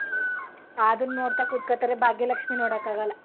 ಅದ್ನ್ ನೋಡ್ತಾ ಕೂತ್ಕೋತಾರೆ ಭಾಗ್ಯ ಲಕ್ಷೀ ನೋಡಕಾಗಲ್ಲ.